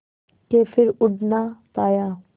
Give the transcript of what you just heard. के फिर उड़ ना पाया